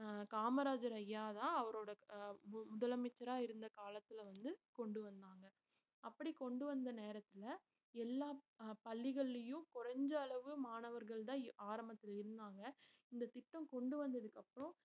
அஹ் காமராஜர் ஐயாதான் அவரோட க~ முதலமைச்சரா இருந்த காலத்துல வந்து கொண்டு வந்தாங்க. அப்படி கொண்டு வந்த நேரத்துல எல்லா அஹ் பள்ளிகள்லயும் குறைஞ்ச அளவு மாணவர்கள்தான் ஆரம்பத்துல இருந்தாங்க இந்தத் திட்டம் கொண்டு வந்ததுக்கு அப்புறம்